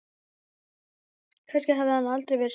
Kannski hafði hann aldrei verið hrifinn af mér.